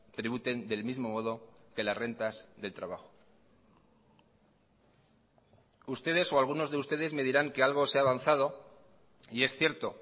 tributen del mismo modo que las rentas del trabajo ustedes o algunos de ustedes me dirán que algo se ha avanzado y es cierto